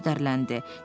Tom kədərləndi.